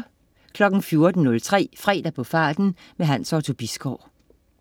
14.03 Fredag på farten. Hans Otto Bisgaard